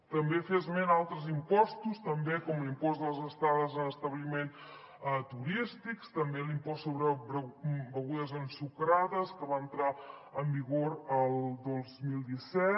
també fer esment a altres impostos com l’impost de les estades en establiments turístics també l’impost sobre begudes ensucrades que va entrar en vigor el dos mil disset